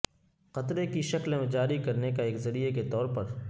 قطرے کی شکل میں جاری کرنے کا ایک ذریعہ کے طور پر